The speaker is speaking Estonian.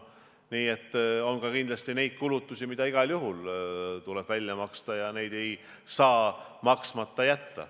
Nii et on ka kindlasti neid kulutusi, mis igal juhul tuleb välja maksta, mida ei saa maksmata jätta.